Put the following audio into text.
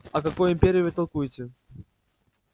о какой империи вы толкуете